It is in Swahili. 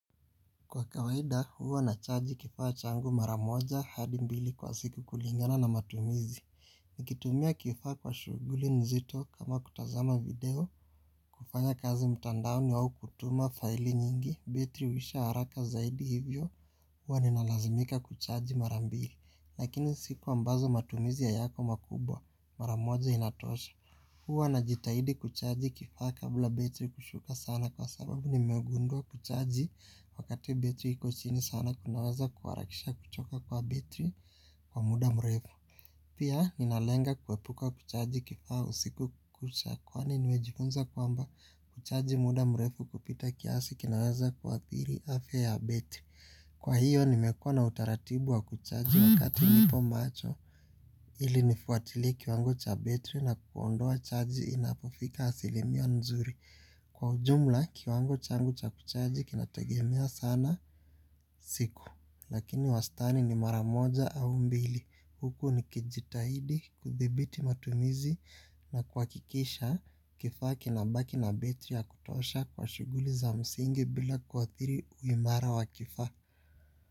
Kwa kawaida huwa nacharge kifaa changu maramoja hadi mbili kwa siku kulingana na matumizi. Nikitumia kifaa kwa shuguli nzito kama kutazama video kufanya kazi mtandaoni au kutuma faili nyingi betri huisha haraka zaidi hivyo huwa ninalazimika kuchaji marambili. Lakini siku ambazo matumizi hayako makubwa maramoja inatosha. Huwa na jitahidi kuchaji kifaa kabla betri kushuka sana kwa sababu nimegundua kuchaji wakati betri iko chini sana kunaweza kuwarakisha kuchoka kwa betri kwa muda mrefu. Pia ninalenga kuwepuka kuchaji kifaa usiku kucha kwani nimejifunza kwamba kuchaji muda mrefu kupita kiasi kinaweza kuwathiri afe ya betri. Kwa hiyo nimekuwa na utaratibu wa kuchaji wakati nipo macho ili nifuatilie kiwango cha betri na kuondoa chaji inapofika asilimia nzuri. Kwa ujumla kiwango changu cha kuchaji kinategemea sana siku lakini wastani ni mara moja au mbili. Huku nikijitahidi kuthibiti matumizi na kuwakikisha kifaa kinabaki na betri ya kutosha kwa shuguli za msingi bila kuathiri uimara wa kifaa.